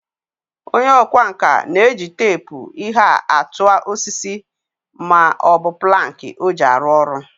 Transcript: Onye okwa nka na-eji teepu ihe a tua osiso ma o bu planki o ji aru oru.